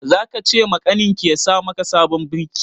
Za ka ce makaniki ya sa maka sabon birki?